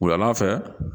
Wula fɛ